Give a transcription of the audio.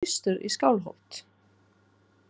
Þú átt að fara austur í Skálholt.